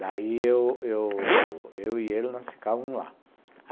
Daí, eu eu eu eu e ele, nós ficávamos lá.